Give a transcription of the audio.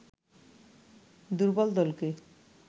দূর্বল দলকে